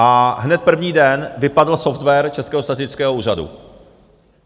A hned první den vypadl software Českého statistického úřadu.